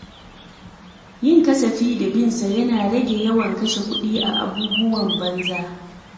Yin kasafi da bin sa yana rage yawan kashe kuɗi a abubuwan banza.